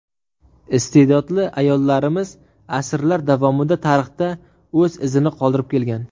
Iste’dodli ayollarimiz asrlar davomida tarixda o‘z izini qoldirib kelgan.